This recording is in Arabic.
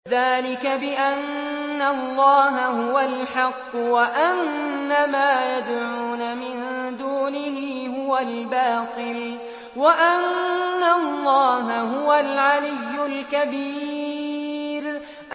ذَٰلِكَ بِأَنَّ اللَّهَ هُوَ الْحَقُّ وَأَنَّ مَا يَدْعُونَ مِن دُونِهِ هُوَ الْبَاطِلُ وَأَنَّ اللَّهَ هُوَ الْعَلِيُّ الْكَبِيرُ